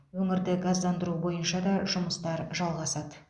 өңірді газдандыру бойынша да жұмыстар жалғасады